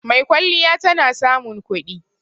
Maikwalliya tana samun kudi